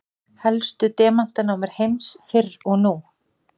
Helstu demantanámur heims fyrr og nú.